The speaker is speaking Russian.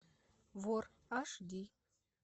вор аш ди